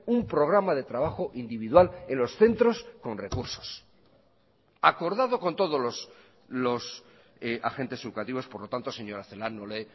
un programa de trabajo individual en los centros con recursos acordado con todos los agentes educativos por lo tanto señora celaá no le